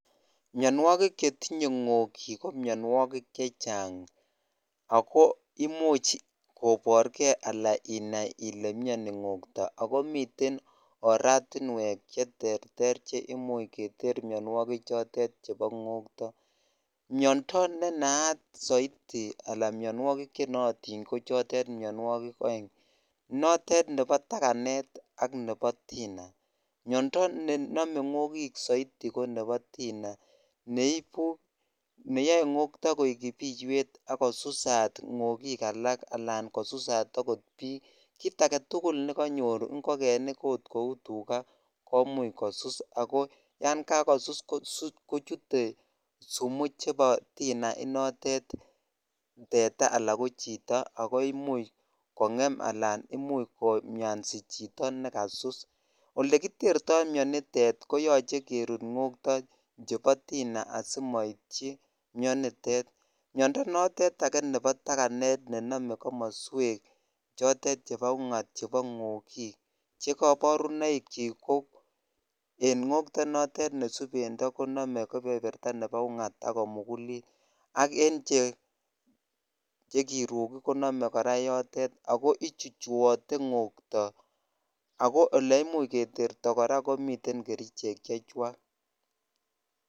Mionwokik chetinye ngokik ko mionwokik chechang ak ko imuch koborke alaan inai ilee mioni ng'okto ak ko miten oratinwek cheterter cheimuch keter mionwoki chotet chebo ng'okto, miondo nenaat soiti alaan mionwokik chenootin ko chotet mionwokik oeng, notet nebo takanet ak nebo tina, miondo nenome ng'okik soiti ko nebo tina neibu neyoe ng'okto koik kipiywet ak kosusat ng'okik alak alaan kosusat okot biik, kiit aketukul nekonyor ngokenik oot kouu tukaa komuch kosus ak ko yon kakosus kochute sumu chebo tina inotet teta alaa ko chito ak koimuch kong'em alaan imuch komiansi chito nekasus, olekitertoi mionitet koyoche kerut ng'okto chebo tina asimoityi mionitet, miondo notet akee nebo takanet nenome komoswek chotet chebo ungot chebo ng'okik che koborunoikyik ko en ng'okto notet be subendo konome kebeberta nebo ungot ak komukulit ak en che kirukik konome kora yotet ak ko ichuchuote ng'okto ak ko olee imuch Keterto kora komiten kerichek chechwak.